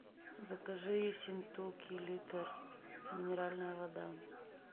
закажи ессентуки литр минеральная вода